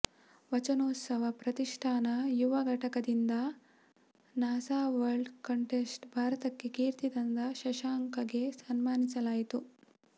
ವಚನೋತ್ಸವ ಪ್ರತಿಷ್ಠಾನ ಯುವ ಘಟಕದಿಂದ ನಾಸಾ ವಲ್ಡ್ ಕಂಟೆಸ್ಟ್ ಭಾರತಕ್ಕೆ ಕೀರ್ತಿ ತಂದ ಶಶಾಂಕಗೆ ಸನ್ಮಾನಿಸಲಾಯಿತು